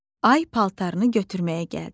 Ay paltarını götürməyə gəldi.